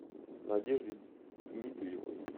надежде дмитриевой